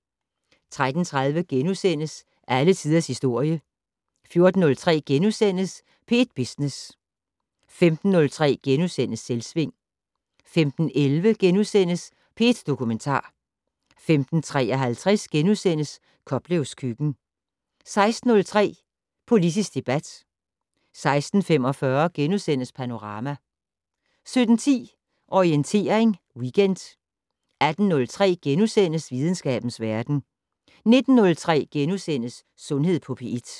13:30: Alle tiders historie * 14:03: P1 Business * 15:03: Selvsving * 15:11: P1 Dokumentar * 15:53: Koplevs køkken * 16:03: Politisk debat 16:45: Panorama * 17:10: Orientering Weekend 18:03: Videnskabens verden * 19:03: Sundhed på P1 *